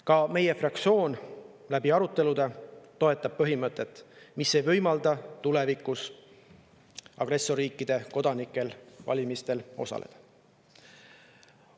Ka meie fraktsioon on aruteludel toetanud põhimõtet, mis ei võimalda agressorriikide kodanikel tulevikus valimistel osaleda.